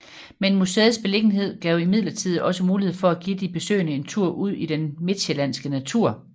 Men museets beliggenhed gav imidlertid også mulighed for at give de besøgende en tur ud i den midtsjællandske natur